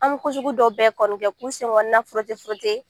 An bɛ ko sugu dɔw bɛɛ kɔni kɛ k'u senkɔnɔna